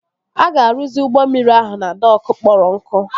A ga-arụzi ụgbọ mmiri ahụ na dokụ kpọrọ nkụ